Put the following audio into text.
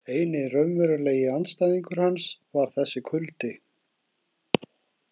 Eini raunverulegi andstæðingur hans var þessi kuldi.